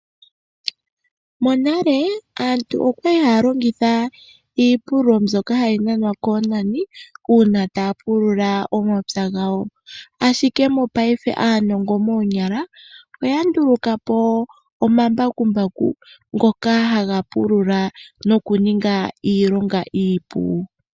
Monale aantu okwali haya longitha iipululo mbyoka hayi nanwa koonani uuna taya pulula omapya gawo. Mongaashingeyi aanongo moonyala oya nduluka po omambakumbaku ngoka haga pulula noga ninga iilonga iipu.